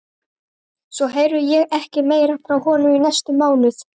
Svo heyrði ég ekkert meira frá honum í næstum mánuð.